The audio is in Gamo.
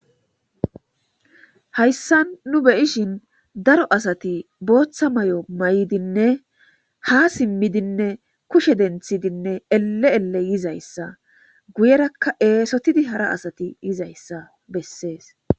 hayssa nu beyishin daro asati booththa may7o may7dinne ha simmidinne kushe denthidinne elle7elle yizayssa guyerakka eesotidi hara asati yizayssa bessees